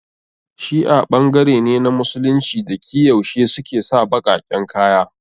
Shi'a ɓangare ne na Musulunci da ki yaushe suke sa baƙaƙen kaya